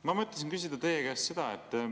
Ma mõtlesin küsida teie käest seda.